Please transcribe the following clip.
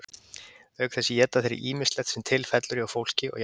auk þess éta þeir ýmislegt sem til fellur hjá fólki og jafnvel hræ